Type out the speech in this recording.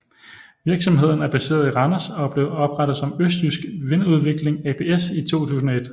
Virksomheden er baseret i Randers og blev oprettet som Østjysk Vindudvikling ApS i 2001